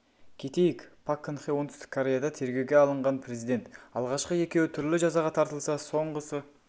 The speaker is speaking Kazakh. кетейік пак кын хе оңтүстік кореяда тергеуге алынған президент алғашқы екеуі түрлі жазаға тартылса соңғысы